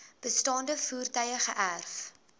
bestaande voertuie geërf